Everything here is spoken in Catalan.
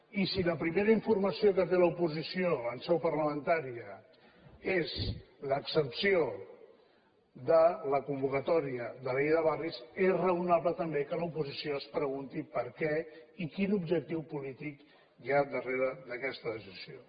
i si la primera informació que té l’oposició en seu parlamentària és l’exempció de la convocatòria de la llei de barris és raonable també que l’oposició es pregunti per què i quin objectiu polític hi ha darrere d’aquesta decisió